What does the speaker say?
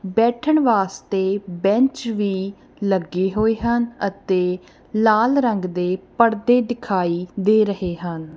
ਬੈਠਣ ਵਾਸਤੇ ਬੈਂਚ ਵੀ ਲੱਗੀ ਹੋਏ ਹਨ ਅਤੇ ਲਾਲ ਰੰਗ ਦੇ ਪੜਦੇ ਦਿਖਾਈ ਦੇ ਰਹੇ ਹਨ।